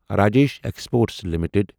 Rajesh exports limited